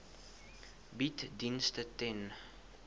bied dienste ten